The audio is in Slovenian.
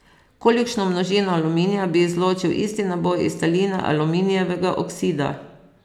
Kolikšno množino aluminija bi izločil isti naboj iz taline aluminijevega oksida?